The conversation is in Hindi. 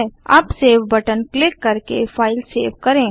अब सेव बटन क्लिक करके फाइल सेव करें